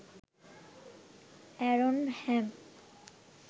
Aaron Ham